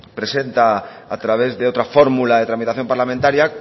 presenta a través de otra fórmula de tramitación parlamentaria